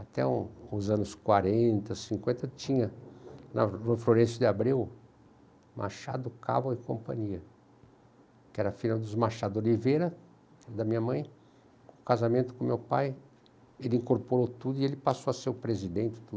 Até os anos quarenta, cinquenta, tinha, na rua Florencio de Abreu Machado Caval, e Companhia, que era a filha dos Machado Oliveira, da minha mãe, com casamento com meu pai, ele incorporou tudo e ele passou a ser o presidente de tudo.